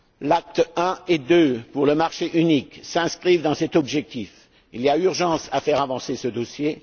L'acte I et II pour le marché unique s'inscrivent dans cet objectif. Il y a urgence à faire avancer ce dossier.